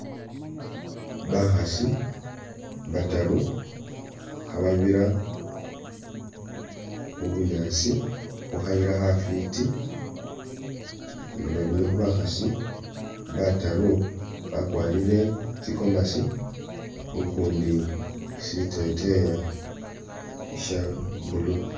Bakhaasi bataru khababira mu bunyaasi khu khayila khafwiti ,nga babili khu'bakhaasi bataru bakwalire tsi gomasi, ukundi siteteya sha blue